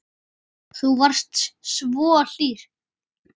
Þú varst svo hlýr.